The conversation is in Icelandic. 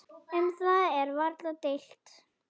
Um það er varla deilt.